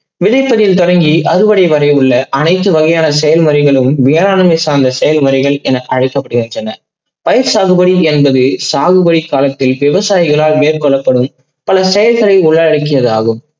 நிலத்தடியில் தொடக்கி அறுவடை உள்ள அனைத்து வகையான செயல்களிலும் வேளாண்மை சார்ந்த செயல்மொழிகள் என அழைக்கப்படுகின்றன. பயிர் சாகுபடி என்பது சாகுபை காலத்தில் விவசாயிகளால் மேற்கொள்ளப்படும் பல செயல்களில் உள்ளடைக்கியதாகும்.